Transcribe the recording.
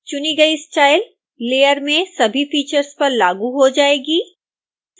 चुनी गई style layer में सभी फीचर्स पर लागू हो जाएगी